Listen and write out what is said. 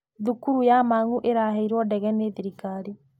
Thukuru ya Mang'u ĩraheirwo ndege nĩ thirikari.